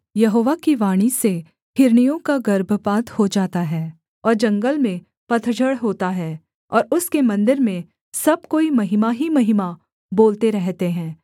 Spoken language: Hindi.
यहोवा की वाणी से हिरनियों का गर्भपात हो जाता है और जंगल में पतझड़ होता है और उसके मन्दिर में सब कोई महिमा ही महिमा बोलते रहते है